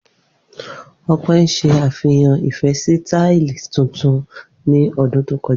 Ope n ṣe afihan ifẹ si tile tuntun ni ọdun to kọja.